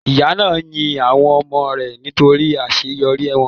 Ìyá náà yin àwọn ọmọ rẹ̀ nítorí àseyorí wọ́n